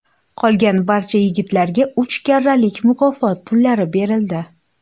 Qolgan barcha yigitlarga uch karralik mukofot pullari berildi.